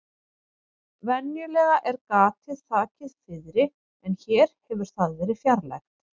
Venjulega er gatið þakið fiðri en hér hefur það verið fjarlægt.